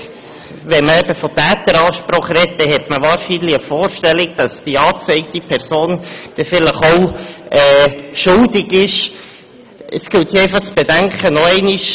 Wenn man von «Täteransprache» spricht, dann hat man wahrscheinlich eine Vorstellung, dass die angezeigte Person vielleicht auch schuldig ist.